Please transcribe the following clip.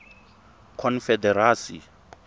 confederacy